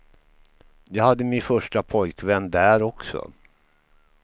Jag hade min första pojkvän där också.